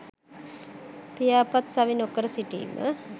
පියාපත් සවි නොකර සිටීම